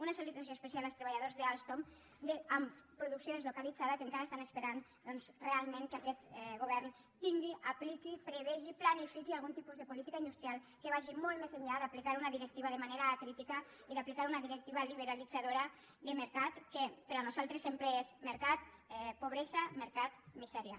una salutació especial als treballadors d’alstom amb producció deslocalitzada que encara esperen realment que aquest govern tingui apliqui prevegi planifiqui algun tipus de política industrial que vagi molt més enllà d’aplicar una directiva de manera acrítica i d’aplicar una directiva liberalitzadora de mercat que per a nosaltres sempre és mercat pobresa mercat misèria